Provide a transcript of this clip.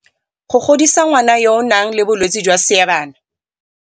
Go godisa ngwana yo o nang le bolwetse jwa seebana